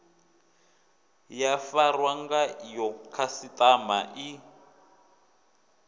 ya farwa ngayo khasiṱama i